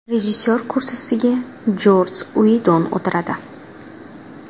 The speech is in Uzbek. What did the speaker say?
Rejissor kursisiga Joss Uidon o‘tiradi.